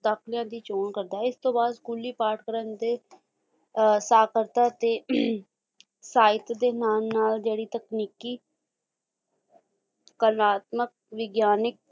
ਦੀ ਚੋਣ ਕਰਦਾ ਹੈ ਇਸਤੋਂ ਬਾਅਦ ਸਕੂਲੀ ਪਾਠਕ੍ਰਮ ਤੇ ਸਾਕਾਰਤਾ ਤੇ ਅਹੰ ਸਾਹਿਤ ਦੇ ਨਾਲ ਨਾਲ ਜਿਹੜੀ ਤਕਨੀਕੀ ਕਰਾਤਮਿਕ, ਵਿਗਿਆਨਿਕ